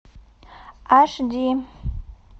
аш ди